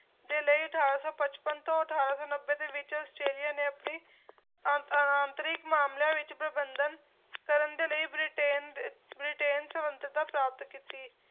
ਦੇ ਲਈ ਅਠਾਰਾਂ ਸੌ ਪਚਪਨ ਤੋਂ ਅਠਾਰਾਂ ਸੌ ਨੱਬੇ ਦੇ ਵਿੱਚ ਆਸਟ੍ਰੇਲੀਆ ਨੇ ਆਪਣੀ ਆ ਆਂਤਰਿਕ ਮਾਮਲਿਆਂ ਵਿੱਚ ਪ੍ਰਬੰਧਨ ਕਰਨ ਦੇ ਲਈ ਬ੍ਰਿਟੇਨ ਦੇ ਬ੍ਰਿਟੇਨ ਸੰਬੰਧਤਾ ਪ੍ਰਾਪਤ ਕੀਤੀ